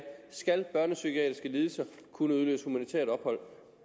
skal børnepsykiatriske lidelser kunne udløse humanitært ophold